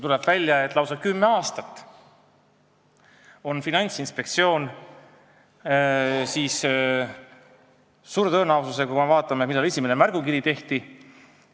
Tuleb välja, et lausa kümme aastat on Finantsinspektsioon suure tõenäosusega – vaadakem, millal esimene märgukiri tehti!